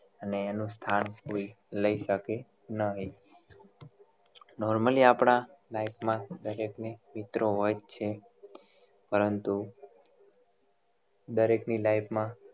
અને એનું સ્થાન કોઈ લઈ શકે નહિ normally આપણા life દરેક ને મિત્ર હોય છે પરંતુ દરેક ની life માં